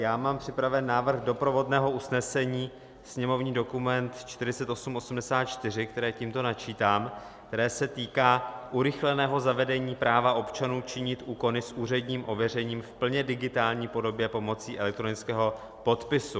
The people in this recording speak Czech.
Já mám připraven návrh doprovodného usnesení, sněmovní dokument 4884, které tímto načítám, které se týká urychleného zavedení práva občanů činit úkony s úředním ověřením v plně digitální podobě pomocí elektronického podpisu.